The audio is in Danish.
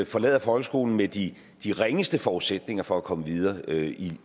forlader folkeskolen med de ringeste forudsætninger for at komme videre i